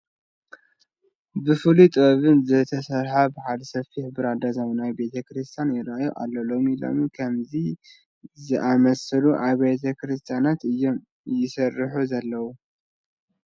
ብፍሉይ ጥበብ ዝተሰርሐ በዓል ሰፊሕ ብራንዳ ዘመናዊ ቤተ ክርስቲያን ይርአየና ኣሎ፡፡ ሎሚ ሎሚ ከምዚ ዝኣምሰሉ ኣብያተ ክርስቲያናት እዮም ይስርሑ ዘለዉ፡፡